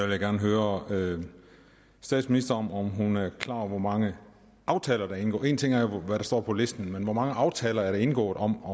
jeg gerne høre statsministeren om hun er klar over hvor mange aftaler der er indgået en ting er jo hvad der står på listen men hvor mange aftaler er der indgået om